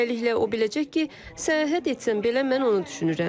Beləliklə, o biləcək ki, səyahət etsəm belə mən onu düşünürəm.